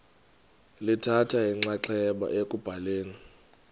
lithatha inxaxheba ekubhaleni